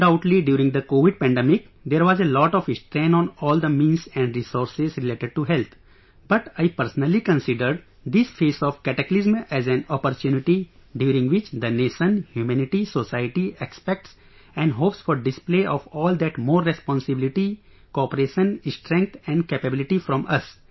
Undoubtedly during the Covid pandemic, there was a lot of strain on all the means and resources related to health but I personally consider this phase of cataclysm as an opportunity during which the nation, humanity, society expects and hopes for display of all that more responsibility, cooperation, strength and capability from us